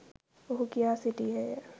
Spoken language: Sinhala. ඔහු කියා සිටියේය